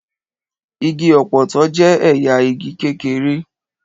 Igi ọ̀pọ̀tọ́ jẹ́ ẹ̀yà igi kékeré.